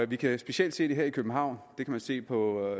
vi kan jo specielt se her i københavn det kan vi se på